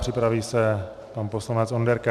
Připraví se pan poslanec Onderka.